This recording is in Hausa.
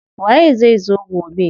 Waye zai zo gobe?